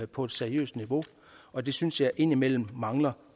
på et seriøst niveau og det synes jeg indimellem mangler